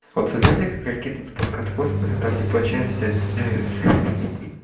вот вы знаете как ракеты запускают в космос и там типа части отделяются